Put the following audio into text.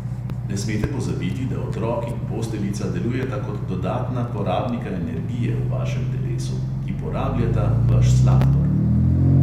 Ne smete pozabiti, da otrok in posteljica delujeta kot dodatna "porabnika energije" v vašem telesu, ki porabljata vaš sladkor.